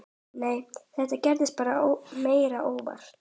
Nei, þetta gerðist meira óvart.